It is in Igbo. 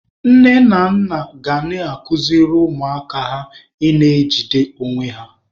Nne na nna ga na-akụziri ụmụaka ha ị na-ejide onwe ha.